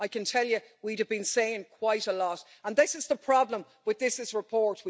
I can tell you we'd have been saying quite a lot, and this is the problem with this report.